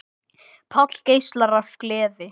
Páll geislar af gleði.